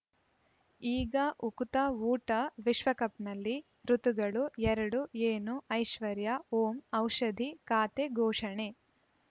ಈಗ ಉಕುತ ಊಟ ವಿಶ್ವಕಪ್‌ನಲ್ಲಿ ಋತುಗಳು ಎರಡು ಏನು ಐಶ್ವರ್ಯಾ ಓಂ ಔಷಧಿ ಖಾತೆ ಘೋಷಣೆ